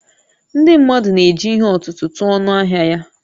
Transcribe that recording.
Ndị mmadụ na-eji ihe ọ̀tụ̀tụ̀ tụọ ọnụ ahịa ya